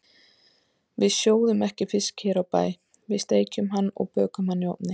Við sjóðum ekki fisk hér á bæ, við steikjum hann og bökum hann í ofni.